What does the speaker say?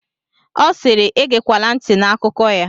Ọ siiri, egekwala ntị n'akụkọ ya!